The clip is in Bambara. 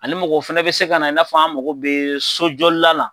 Ani mɔgɔ fɛnɛ bɛ se ka na i n'a fɔ an mako bɛ sojɔla la.